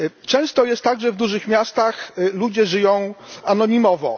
Często jest tak, że w dużych miastach ludzie żyją anonimowo.